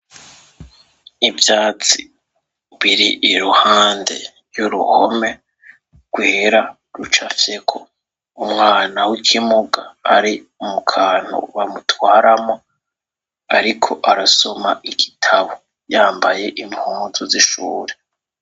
Ivyatsi biri iruhande yuruhome rwera rucafyeko umwana wikimuga ari mukantu bamutwaramwo ariko arasoma igitabo yambaye impuzu zishure.